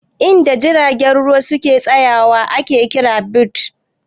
In da jiragen ruwa suke tsaya wa ake kira "berths"